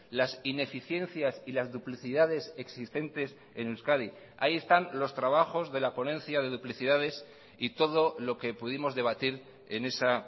las ineficiencias y las duplicidades existentes en euskadi ahí están los trabajos de la ponencia de duplicidades y todo lo que pudimos debatir en esa